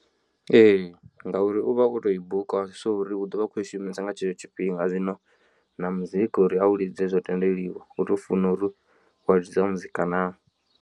Ee ngauri uvha o to i buka so uri u ḓovha a kho i shumisa nga tshetsho tshifhinga zwino na muzika uri a u lidze zwo tendeliwa u tou funa uri wa ḽidza muzika naa.